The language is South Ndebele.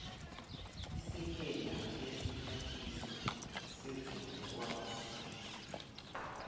isekela lesiphathiswa sezokwazisa